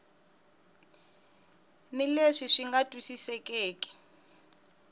ni leswi swi nga twisisekeki